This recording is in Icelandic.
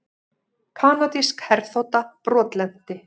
Kanadísk herþota brotlenti